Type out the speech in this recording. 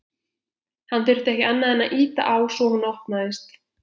Hann þurfti ekki annað en ýta á svo hún opnaðist.